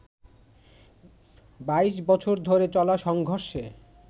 ২২ বছর ধরে চলা সংঘর্ষে